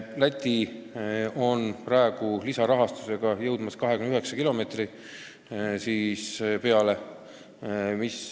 Läti hakkab praegu lisarahastuse abil jõudma 29 kilomeetrini.